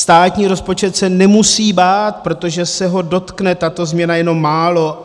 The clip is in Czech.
Státní rozpočet se nemusí bát, protože se ho dotkne tato změna jenom málo.